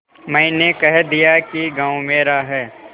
मैंने कह दिया कि गॉँव मेरा है